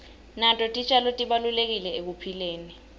nato titjalo tibalulekile ekuphileni